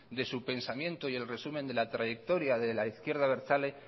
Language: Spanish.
de su pensamiento y el resumen de la trayectoria de la izquierda abertzale